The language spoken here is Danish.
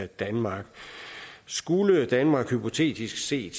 danmark skulle danmark hypotetisk set